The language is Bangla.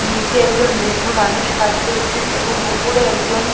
নিচে একজন বৃদ্ধ মানুষ কাজ করছেন এবং উপরে একজন।